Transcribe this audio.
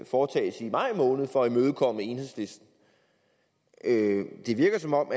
foretages i maj måned for at imødekomme enhedslisten det virker som om